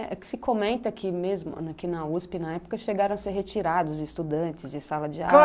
É que se comenta que mesmo aqui mesmo, aqui na uspê, na época, chegaram a ser retirados estudantes de sala de aula. Claro!